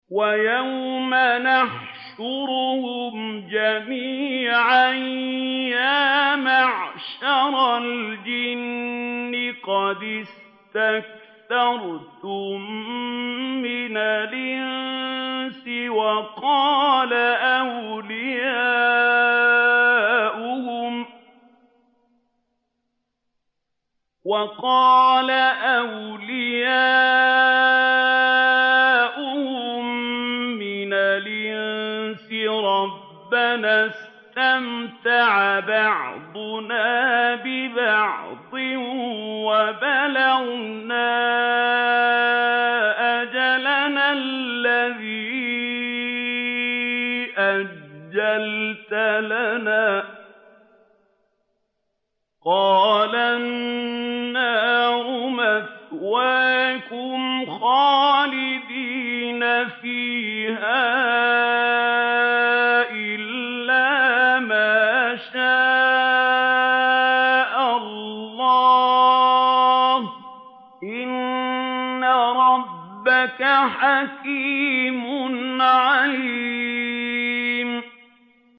وَيَوْمَ يَحْشُرُهُمْ جَمِيعًا يَا مَعْشَرَ الْجِنِّ قَدِ اسْتَكْثَرْتُم مِّنَ الْإِنسِ ۖ وَقَالَ أَوْلِيَاؤُهُم مِّنَ الْإِنسِ رَبَّنَا اسْتَمْتَعَ بَعْضُنَا بِبَعْضٍ وَبَلَغْنَا أَجَلَنَا الَّذِي أَجَّلْتَ لَنَا ۚ قَالَ النَّارُ مَثْوَاكُمْ خَالِدِينَ فِيهَا إِلَّا مَا شَاءَ اللَّهُ ۗ إِنَّ رَبَّكَ حَكِيمٌ عَلِيمٌ